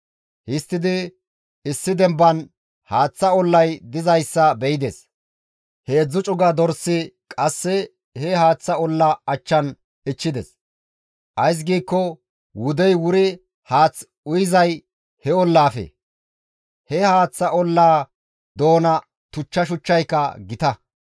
Histtidi issi demban haaththa ollay dizayssa be7ides; heedzdzu cuga dorsi qasse he haaththa olla achchan ichchides; ays giikko wudey wuri haath uyizay he ollazappe; he haaththa ollaa doona tuchcha shuchchayka gita.